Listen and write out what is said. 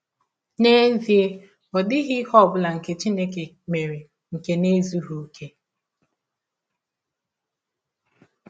N’ezie, ọ dịghị ihe ọ bụla Chineke mere nke na - ezụghị ọkè.